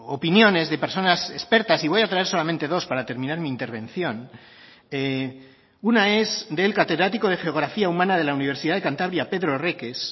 opiniones de personas expertas y voy a traer solamente dos para terminar mi intervención una es del catedrático de geografía humana de la universidad de cantabria pedro reques